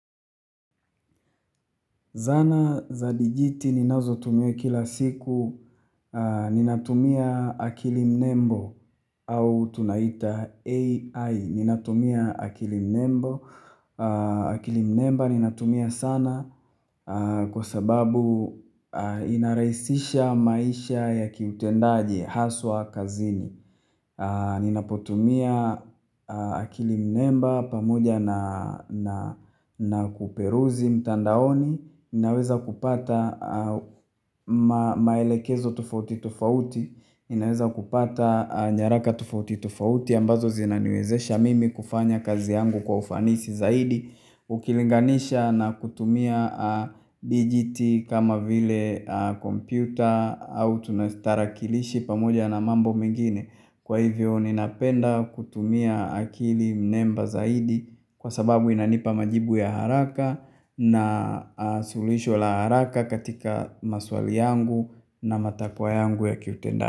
Zana za digit ninazotumia kila siku Ninatumia akili mnembo au tunaita AI Ninatumia akili mnembo akili mnembo ninatumia sana Kwa sababu inarahisisha maisha ya kiutendaji haswa kazini Ninapotumia akili mnembo pamoja na na kuperuzi mtandaoni ninaweza kupata maelekezo tufauti tufauti ninaweza kupata nyaraka tofauti tofauti ambazo zinaniwezesha mimi kufanya kazi yangu kwa ufanisi zaidi ukilinganisha na kutumia digit kama vile kompyuta au tunastarakilishi pamoja na mambo mengine kwa hivyo ninapenda kutumia akili mnemba zaidi kwa sababu inanipa majibu ya haraka na suluhisho la haraka katika maswali yangu na matakwa yangu ya kiutenda.